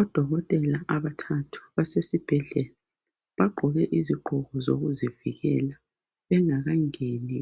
Odokotela abathathu basesibhedlela baqoke iziqoko zokuzivikela, bengakangeni